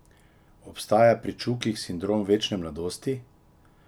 Obstaja pri Čukih sindrom večne mladosti?